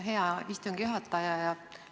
Hea istungi juhataja!